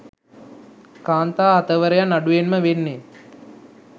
කාන්තා අතවරයන් අඩුවෙන්ම වෙන්නේ.